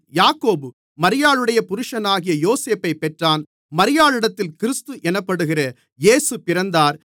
யாக்கோபு மரியாளுடைய புருஷனாகிய யோசேப்பைப் பெற்றான் மரியாளிடத்தில் கிறிஸ்து எனப்படுகிற இயேசு பிறந்தார்